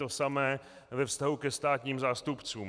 To samé ve vztahu ke státním zástupcům.